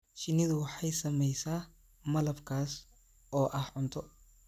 Shinnidu waxay samaysaa malab kaas oo ah cunto